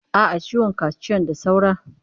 A'a, ciwon kaciyan da saura.